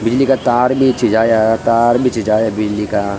बिजली का तार बीछी जाया तार बीछी जाया बिजली का।